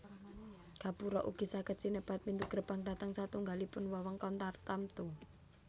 Gapura ugi saged sinebat pintu gerbang dhateng satunggalipun wewengkon tartamtu